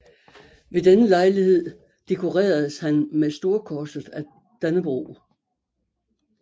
Ved denne lejlighed dekoreredes han med Storkorset af Dannebrog